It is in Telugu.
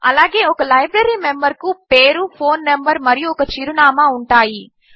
అలాగే ఒక లైబ్రరీ మెంబర్కు పేరు ఫోన్ నంబరు మరియు ఒక చిరునామా ఉంటాయి